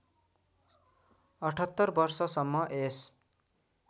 ७८ वर्षसम्म यस